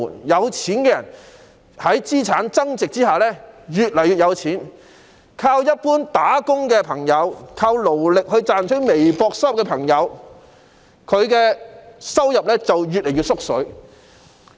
有錢人在資產增值下越來越富有，但依靠一般工作的朋友、依靠勞力賺取微薄收入的朋友，他們的收入卻越來越少。